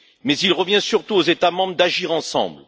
Mais il revient surtout aux États membres d'agir ensemble.